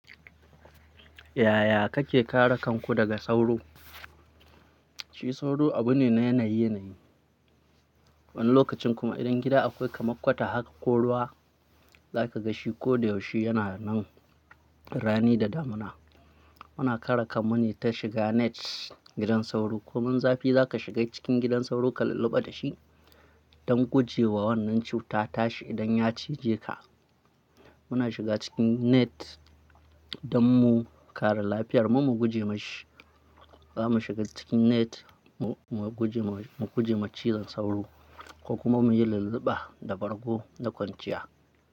Yaya kake kare kanku daga sauro? Shi sauro abu ne na yanayi, yanayi. Wani lokacin kuma idan gida akwai kamar kwata haka ko ruwa, za ka ga shi ko da yaushe yana nan rani da damuna. Muna kare kanmu ne ta shiga net gidan sauro komin zafi za ka shiga cikin gidan sauro ka lulluɓa da shi don guje wa wannan cuta tashi idan ya cije ka. Muna shiga cikin net don mu kare lafiyar mu, mu guje ma shi. Za mu shiga cikin net mu, mu guje, mu guje ma cizon sauro ko kuma mu yi lulluɓa da bargo da kwanciya.